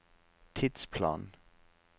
tidsplan